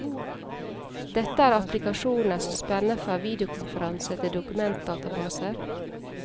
Dette er applikasjoner som spenner fra videokonferanse til dokumentdatabaser.